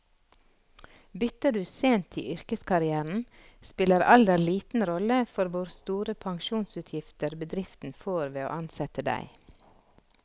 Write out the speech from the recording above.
Bytter du sent i yrkeskarrieren, spiller alder liten rolle for hvor store pensjonsutgifter bedriften får ved å ansette deg.